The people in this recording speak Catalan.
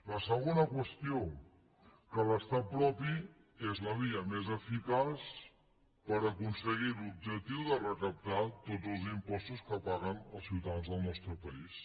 la segona qüestió que l’estat propi és la via més eficaç per aconseguir l’objectiu de recaptar tots els impostos que paguen els ciutadans del nostre país